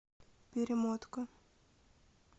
перемотка